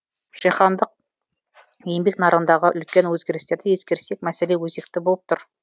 жаһандық еңбек нарығындағы үлкен өзгерістерді ескерсек мәселе өзекті болып тұр